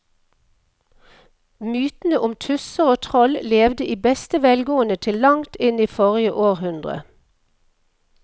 Mytene om tusser og troll levde i beste velgående til langt inn i forrige århundre.